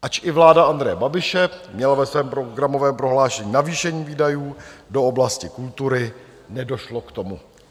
Ač i vláda Andreje Babiše měla ve svém programovém prohlášení navýšení výdajů do oblasti kultury, nedošlo k tomu.